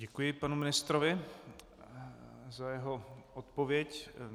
Děkuji panu ministrovi za jeho odpověď.